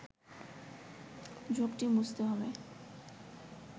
ঝোঁকটি বুঝতে হবে